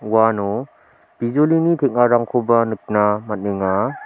uano bijolini teng·arangkoba nikna man·enga.